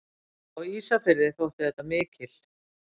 Á Ísafirði þótti þetta mikil.